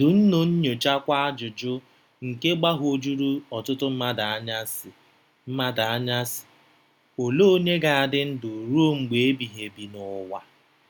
Dunnu nyochakwa ajụjụ nke gbagwojuru ọtụtụ mmadụ anya, sị, mmadụ anya, sị, Olee onye ga-adị ndụ ruo mgbe ebighị ebi n'ụwa?